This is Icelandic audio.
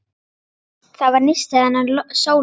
Það var nistið hennar Sólu.